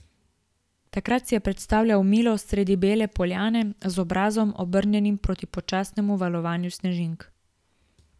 Takrat si je predstavljal Milo sredi bele poljane, z obrazom, obrnjenim proti počasnemu valovanju snežink.